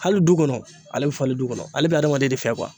Hali du kɔnɔ ale bɛ falen du kɔnɔ ale bɛ adamaden de fɛ